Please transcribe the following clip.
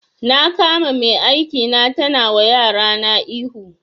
Na kama mai aiki na tana wa yarana ihu